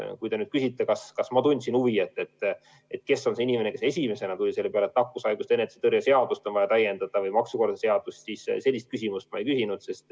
Kui te küsite, kas ma tundsin huvi, kes on see inimene, kes esimesena tuli selle peale, et nakkushaiguste ennetamise ja tõrje seadust või maksukorralduse seadust on vaja täiendada, siis sellist küsimust ma ei küsinud.